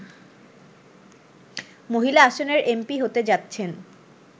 মহিলা আসনের এমপি হতে যাচ্ছেন